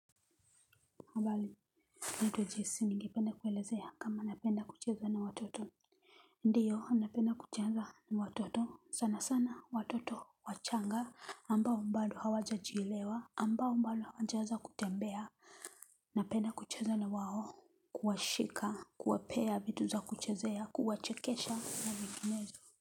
Habari niite jesi ningepend kuelezea kama napenda kucheza na watoto. Ndiyo, napenda kucheza na watoto, sana sana, watoto, wachanga. Ambao mbado hawaja jielewa, ambao mbalo hawajaanza kutembea. Napenda kucheza na wao, kuwashika, kuwapea vitu za kuchezea, kuwachekesha na vinginezo.